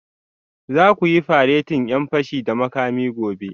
Za ku yi faretin 'yan fashi da makami gobe